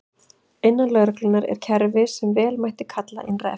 Innan lögreglunnar er kerfi sem vel mætti kalla innra eftirlit.